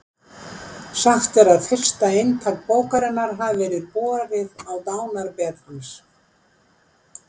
Sagt er að fyrsta eintak bókarinnar hafi verið borið á dánarbeð hans.